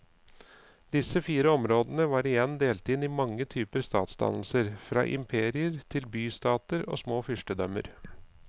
Disse fire områdene var igjen delt inn i mange typer statsdannelser, fra imperier til bystater og små fyrstedømmer.